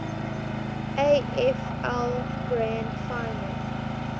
afl grand final